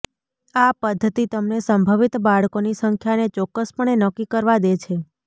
આ પદ્ધતિ તમને સંભવિત બાળકોની સંખ્યાને ચોક્કસપણે નક્કી કરવા દે છે